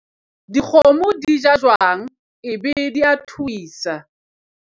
dikgomo di ja jwang ebe di a thuisa